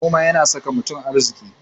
Noma yana saka mutum arziki.